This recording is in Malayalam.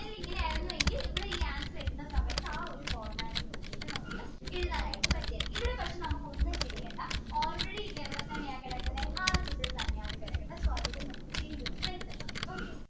ഇങ്ങനെയായിരുന്നു എങ്കിൽ ഇവിടെ ഈ answer വരുന്ന സമയത്ത് ആ ഒരു format നോക്കിട്ട് നമുക്ക് എഴുതാൻ ആയിട്ട് പറ്റും ഇവിടെ പക്ഷേ നമുക്ക് ഒന്നും ചെയ്യേണ്ട already ഇത് അവിടെ തന്നെ കിടക്കുന്ന എന്നെ കിടക്കുന്ന so അതില് നമുക്ക് change ഒന്നും വരുത്തേണ്ട